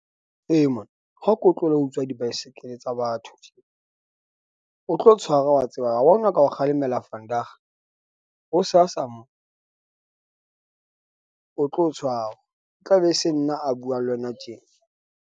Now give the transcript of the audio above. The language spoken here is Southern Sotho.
E, mahn, ha ko tlohelle ho utswa di-bicycle tsa batho tje. O tlo tshwara wa tseba, wa bona ka o kgalemela vandag. Ho sa sa mo o tlo tshwarwa, e tla be e se nna a buang le wena tjena.